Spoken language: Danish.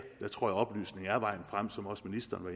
jeg tror oplysning er vejen frem som også ministeren